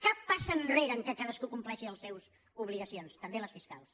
cap passa enre·re en el fet que cadascú compleixi les seves obligaci·ons també les fiscals